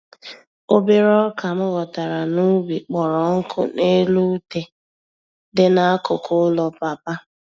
Obere ọkà m ghọtara n'ubi kpọrọ nkụ n'elu ute dị n'akụkụ ụlọ papa